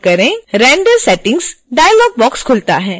render settings dialog box खुलता है